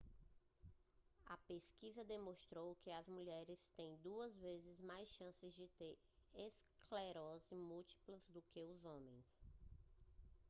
a pesquisa demonstrou que as mulheres têm duas vezes mais chances de ter esclerose múltipla do que os homens